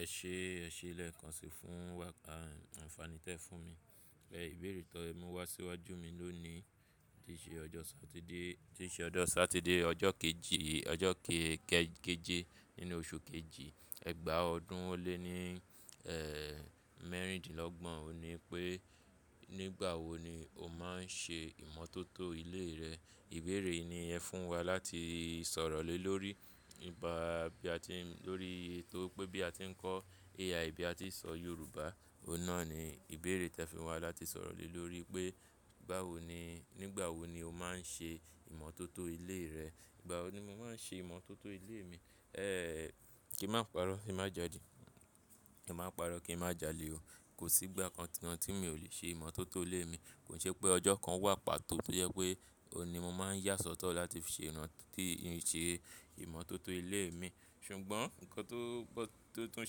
Ẹ ṣe, ẹ ṣe lé kan sí fún wa. Àǹfààní tẹ fún mi. Ẹ ìbéèrè tó mú wá síwájú mi ló ni tí ṣe ọjọ́ Satide, tí ṣe ọjọ́ Satide ọjọ́ kejì, ọjọ́ ke ke-keje nínú oṣù kejì, ẹgbàá ọdún ó lé ní, ẹ́, mẹ́rìndínlọ́gbọ̀n. O ní pé, "Nígbà wo ni o máa ń ṣe ìmọ̀tótó ilé rẹ?" Ìbéèrè yìí ni ẹ fún wa láti sọ̀rọ̀ lé lórí. Bá bí a ti ń, lórí ètò pé bí a ti ń kọ́ AI, bí a ti ń sọ Yorùbá, ọ̀nà ni ìbéèrè tẹ fi wá láti sọ̀rọ̀ lé lórí pé, báwo ni, nígbà wo ni o máa ń ṣe ìmọ̀tótó ilé rẹ? Ìgbà wo ni mo máa ń ṣe ìmọ̀tótó ilé mi? Ẹ́, kí n mo pa'rọ́, kí n má jalè. Kí n má pa'rọ́, kí n má jalè o. Kò sí ìgbà kankan ti mo ò lè ṣe ìmọ̀tótó ilé mi. Kò ṣe pé ọjọ́ kan wà pàtó tó jẹ́ pé òní mo máa ń yà sọ́tọ̀ láti ṣe ìrántí ì ṣe ìmọ̀tótó ilé mi. Ṣùgbọ́n nǹkan tó, tó tún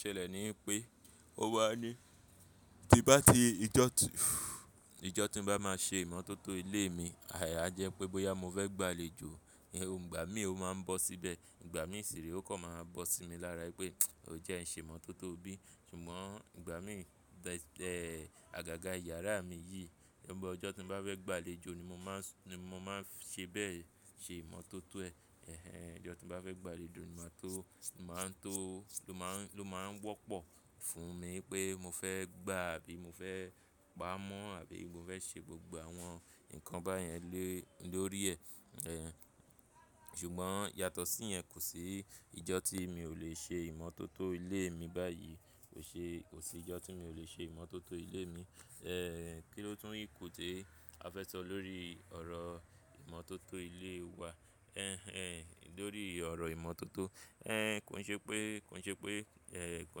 ṣẹlẹ̀ ni pé, o wà ní tí bá ti ijọ́ ti, ijọ́ tí ń bá máa ṣe ìmọ̀tótó ilé mi, àyà jẹ́ pé bóyá mo fẹ́ gbà léjo, ì-- ǹgbà mí òun máa ń bọ́ síbẹ̀. Ǹgbà mí ìṣeré ó kàn máa bọ́ sí mi lára pé, "O jẹ ń ṣe ìmọ̀tótó bí?" Ṣùgbọ́n igbà mí bẹ, ẹ́, àgàgà yàrá mi yìí, ibo ọjọ́ tí ń bá fẹ́ gbà léjo ni mo máa ń s-- ni mo máa ń ṣe bẹ́ẹ̀ ṣe ìmọ̀tótó ẹ̀. Ẹ̀hen. Ọjọ́ tí ń bá fẹ́ gbà léjo ni máa tó, máa ń tó, ló má ń, ló máa ń wọ́pọ̀ fún mi pé mo fẹ́ gbà àbí mo fẹ́ pa mọ́ àbí mo fẹ́ ṣe gbogbo àwọn nǹkan báyẹn lé, lórí ẹ̀. Ẹ̀hen. Ṣùgbbo yàtọ̀ sí yẹn, kò sí ìjọ́ tí mi ò lè ṣe ìmọ̀tótó ilé mi báyìí. Kò ṣe, kò sí ìjọ́ tí mi ò lè ṣe ìmọ̀tótó ilé mi. Ẹ́, kí ló tún ìkù té a fẹ́ sọ lórí ọ̀rọ̀ ìmọ̀tótó ilé wa? Ẹ̀hen, ẹ̀, lórí ọ̀rọ̀ ìmọ̀tótó. Ẹ́, kò ṣe pé, kò ṣe pé, ẹ́, kò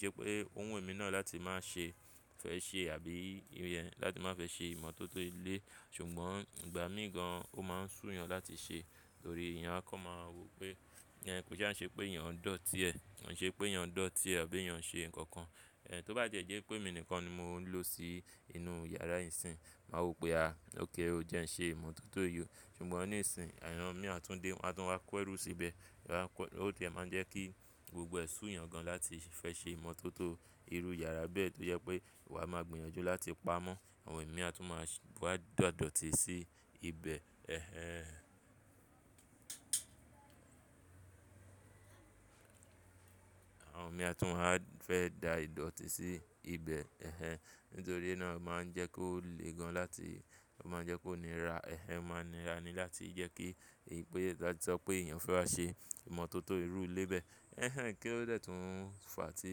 ṣe pé òun wù mí náà láti má ṣe fẹ ṣe àbí ìyẹn, láti má fẹ ṣe ìmọ̀tótó ilé. Ṣùgbọ́n igbà mí gan ò máa ń sú yan láti ṣe. Nítorí eyan a kàn máa wò pé, ìyẹn kò ṣe é ṣe pé èèyàn ń dọ̀tí ẹ̀. Kò ṣe pé èèyàn ń dọ̀tí ẹ̀ àbí èèyàn ṣe nǹkan kan. Ẹ̀, tó bá jẹ́ jẹ́ pé èmi nìkan ni mo ń lò sí inú yàrá ìsìn, máa wò pé, "À, ókay o jẹ ń ṣe ìmọ̀tótó yìí o." Ṣùgbọ́n oní ìsìn, èèyàn mìíràn tún dé, wọ́n á tún wá kọ ẹrú síbẹ̀. À kọ-- ó ti máa ń jẹ́ kí gbogbo ẹ sú yan gan láti fẹ ṣe ìmọ̀tótó irú yàrá bẹ́ẹ̀ tó jẹ́ pé wà máa gbinyan ju láti pa mọ́. Àwọn èèyàn mìíràn tún máa ṣ-- wà da dọ̀tí sí ibẹ̀. Ẹ̀hen. Àwọn èèyàn mìíràn tún máa fẹ́ da ìdọ̀tí sí ibẹ̀. Ẹ̀hen. Nítorí náà ó máa ń jẹ́ kó lè gan láti, ó máa ń jẹ́ kó nira. Ẹ̀hen máa nira ni láti jẹ́ kí ìpè-- láti sọ pé èèyàn fẹ́ wá ṣe ìmọ̀tótó irú ilé bẹ́ẹ̀. Ẹ̀hen. Kí ó lè tún fà á tí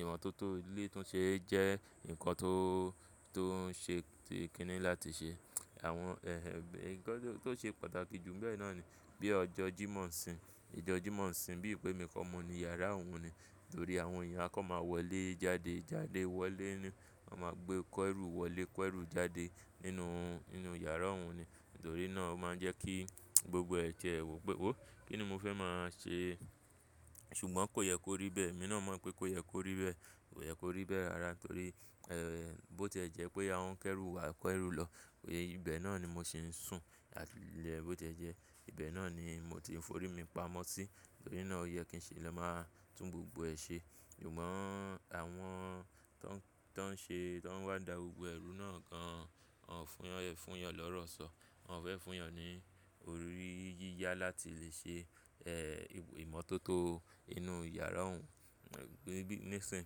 ìmọ̀tótó ilé tún ṣe é jẹ́ nǹkan tó, tó ń ṣe ti tikini láti ṣe. Àwọn, ẹ́, ẹ̀, nǹkan tó, tó ṣe pàtàkì jù bẹ́ẹ̀ náà ni bí ọjọ́ jí mó ń sìn. Ìjọ̀ jí mó ń sìn bí i pé mi kọ́ mo ni yàrá òun ni. Nítorí àwọn èèyàn a kàn máa wọlé jáde, jáde wọlé ni. Wọ́n máa gbé kọ ẹrú wọlé, kọ ẹrú jáde nínú, nínú yàrá òun ni. Nítorí náà ó máa ń jẹ́ kí gbogbo ẹ tiẹ, wò pé, "Ó, kí ni mo fẹ́ máa ṣe?" Ṣùgbọ́n kò yẹ kó rí bẹ́ẹ̀. Èmi náà mọ̀ pé kó yẹ kó rí bẹ́ẹ̀. Kò yẹ kó rí bẹ́ẹ̀ rara torí, ẹ́, bó tẹ́ jẹ́ pé àwọn kẹ́rù wa kọ ẹrú lọ, ibẹ̀ náà ni mo sì ń sùn. Láti lẹ́ẹ́ bó tẹ́ jẹ́, ibẹ̀ náà ni mo ti ń forí mi pamọ́ sí. Nítorí náà ó yẹ kí n ṣe lọ́ máa tún gbogbo ẹ ṣe. Ṣùgbọ́n àwọn tó ń, tó ń ṣe, tó ń wá da gbogbo ẹrú náà gan, wọ́n ò fún, wọ́n ò fún yan lọ́rọ̀ sọ. Wọn ò fẹ́ fún yan ní orí yíyá láti lè ṣe, ẹ́, ìmọ̀tótó inú yàrá òun. Ǹ bí, ní ìsìn,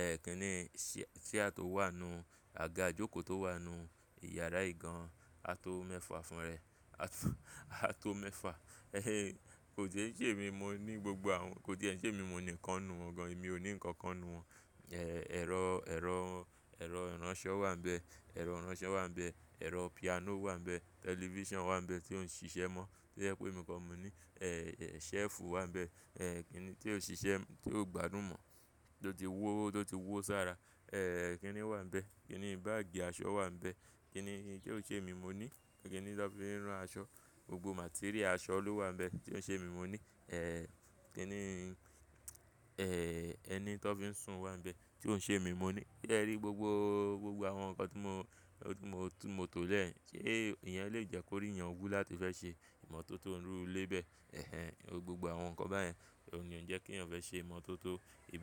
ẹ́, kí ni ṣí à tó wà nínú àga ìjókòó tó wà nínú yàrá yìí gan, a tó mẹ́fà fún rẹ̀. A tó, a tó mẹ́fà. Ẹ́hen. Kò dé tí èmi mo ní gbogbo àwọn-- kò dé ẹ́n ṣé èmi mo nìkan nu wọn gan. Èmi ò ní nǹkan kan nu wọn. Ẹ̀, ẹ̀rọ, ẹ̀rọ, ẹ̀rọ ìránṣọ wà nínú bẹ̀. Ẹ̀rọ ìránṣọ wà nínú bẹ̀. Ẹ̀rọ piano wà nínú bẹ̀. Television wà nínú bẹ̀ tí ó ń ṣiṣẹ́ mọ́. Tí jẹ pé mi kọ́ mo ní. Ẹ́, shelf wà bẹ̀. Ẹ́, kí ni tí ó ń ṣiṣẹ́, tí ó ń gbádùn mọ́, tó ti wó, tó ti wó sára. Ẹ́, kí ni wà nínú bẹ̀. Kí ni báàgì aṣọ wà nínú bẹ̀. Kí ni, kí ni tó ṣe mi mo ní. Kí ni tó fi ń rán aṣọ. Gbogbo material aṣọ ló wà nínú bẹ̀ tí ó ń ṣe mi mo ní. Ẹ́, kí ni, ẹ́, ẹni tó fi ń sùn wà nínú bẹ̀, tí ó ń ṣe mi mo ní. Se rí gbogbo, gbogbo àwọn nǹkan tí mo, tí mo, tí mo to lẹ̀ ẹ́. Kí èèyàn lè jẹ́ kó rí èèyàn wú láti fẹ ṣe ìmọ̀tótó irú ilé bẹ́ẹ̀. Ẹ̀hen. Gbogbo àwọn nǹkan báyẹn ni ó ń jẹ́ kí èèyàn fẹ́ ṣe ìmọ̀tótó ibẹ̀